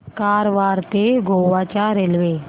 कारवार ते गोवा च्या रेल्वे